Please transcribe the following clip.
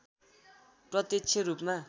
प्रत्यक्ष रूपमा